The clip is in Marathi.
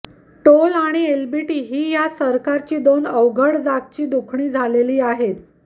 टोल आणि एलबीटी ही या सरकारची दोन अवघड जागची दुखणी झालेली आहेत